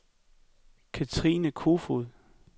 Cathrine Koefoed